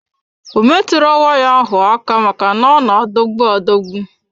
Ọ metụro waya ahụ aka maka na ọ na adogbu adogbu.